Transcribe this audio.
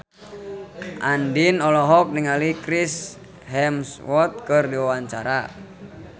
Andien olohok ningali Chris Hemsworth keur diwawancara